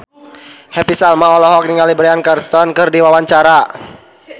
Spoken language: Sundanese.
Happy Salma olohok ningali Bryan Cranston keur diwawancara